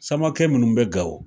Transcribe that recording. Samakɛ minnu bɛ Gawo